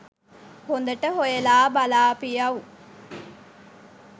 හොදට හොයලා බලාපියව්.